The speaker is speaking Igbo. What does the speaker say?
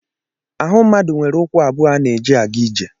Ahụ mmadụ nwere ụkwụ abụọ a na-eji aga ije.